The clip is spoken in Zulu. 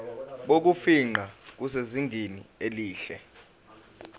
bokufingqa busezingeni elihle